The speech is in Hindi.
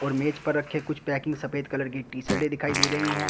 और मेज पर रखे कुछ पैकिंग सफेद कलर की टी-शर्टे दिखाई दे रही है।